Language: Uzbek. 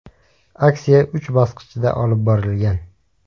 Aksiya uch bosqichda olib borilgan.